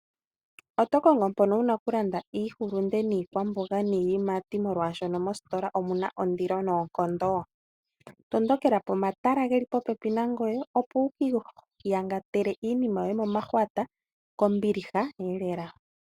Oto kongo mpoka wuna oku landa iihulunde niikwamboga niiyimati, oshoka mositola omuna ondilo noonkondo? Tondokela pomatala geli popepi nangoye, opo wu kiiyangatele iinima yoye momahwata, kombiliha elela.